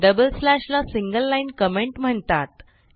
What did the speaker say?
double slash ला single line comment म्हणतात